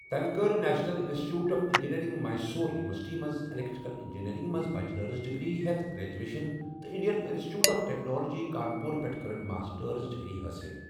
تمہِ کٔر national institute of engineering, Mysore university منٛز ایٚلیٚکٹِرٛکل اِنجِنیرِنٛگ منٛز بچلٕرس ڈِگری ہیتھ گرٛیجویشَن تہٕ Indian institute of technology Kanpur پیٹھہٕ كٕرٕن ماسٹٲرس ڈِگری حٲصِل ۔